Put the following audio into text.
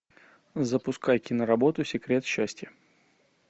запускай киноработу секрет счастья